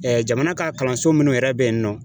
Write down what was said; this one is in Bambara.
Ɛɛ jamana ka kalanso mun yɛrɛ be yen nɔ